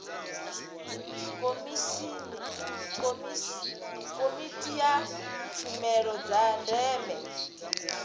komiti ya tshumelo dza ndeme